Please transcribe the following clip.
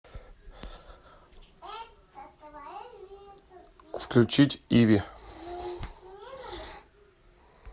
включить иви